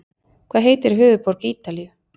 Hvað heitir höfuðborg Ítalíu?